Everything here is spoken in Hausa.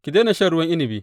Ki daina shan ruwan inabi.